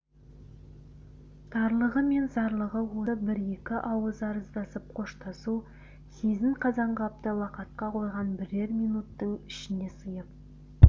тарлығы мен зарлығы осы бір-екі ауыз арыздасып-қоштасу сезім қазанғапты лақатқа қойған бірер минуттің ішіне сыйып